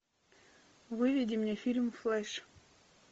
выведи мне фильм флэш